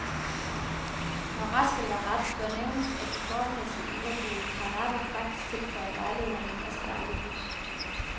Når ret skal være ret, bør nævnes, at de formmæssigt uheldige karnapper faktisk tilføjer lejlighederne en masse dejligt lys.